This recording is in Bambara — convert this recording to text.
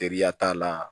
Teriya t'a la